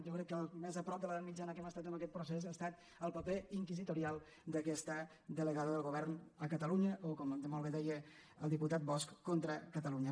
jo crec que el més a prop de l’edat mit·jana que hem estat en aquest procés ha estat el paper inquisitorial d’aquesta delegada del govern a catalu·nya o com molt bé deia el diputat bosch contra ca·talunya